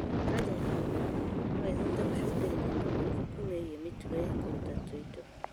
Kanja ya mũmero no ĩhote gũcũngĩrĩria mogarũrũku megiĩ mĩtugo ya kũruta tũindo